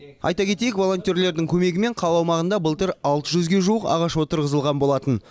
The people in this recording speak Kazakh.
айта кетейік волонтерлердің көмегімен қала аумағында былтыр алты жүзге жуық ағаш отырғызылған болатын